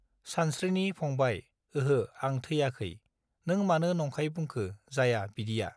सानस्त्रिनि फंबाय ओहो आं थैयाखै नों मानो नंखाय बुंखो जाया बिदिया